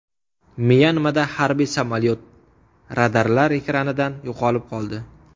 Myanmada harbiy samolyot radarlar ekranidan yo‘qolib qoldi.